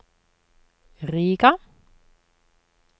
Riga